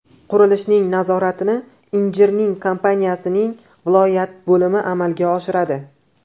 Qurilishning nazoratini injiniring kompaniyasining viloyat bo‘limi amalga oshiradi.